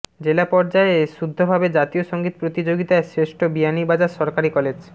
জেলা পর্যায়ে শুদ্ধভাবে জাতীয় সঙ্গীত প্রতিযোগিতায় শ্রেষ্ঠ বিয়ানীবাজার সরকারি কলেজ